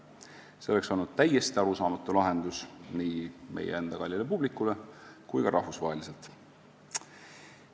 See oleks olnud täiesti arusaamatu lahendus nii meie enda kallile publikule kui ka rahvusvaheliselt.